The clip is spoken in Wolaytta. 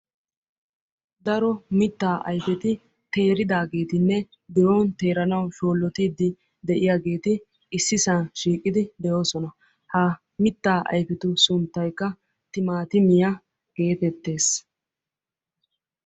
Daro mitta ayfeti teeridaageetinne biron teeranawu shoolottide de'iyaageeti ississa shiiqidi de'oosona. Ha mittaa ayfetu sunttaykka timatimiyaa getettees.